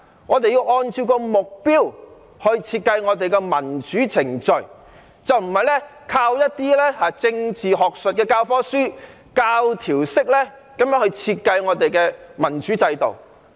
我們要按照目標來設計民主程序，而不是靠一些政治學術教課書，教條式地設計民主制度。